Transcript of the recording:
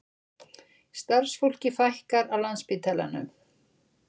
Starfsfólki fækkar á Landspítalanum